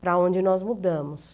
para onde nós mudamos.